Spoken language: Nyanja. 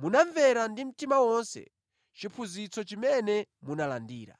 munamvera ndi mtima wonse chiphunzitso chimene munalandira.